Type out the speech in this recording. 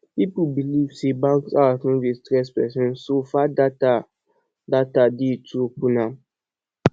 pipo believe sey bank apps no dey stress person so far data data dey to open am